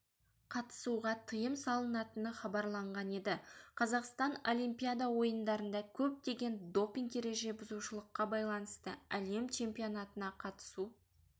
қатысуға тыйым салынатыны хабарланған еді қазақстан олимпиада ойындарында көптеген допинг ережебұзушылыққа байланысты әлем чемпионатына қатысу